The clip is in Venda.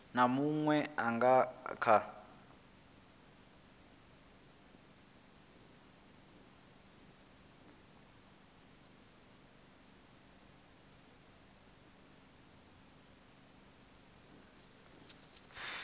na munwe a nga kha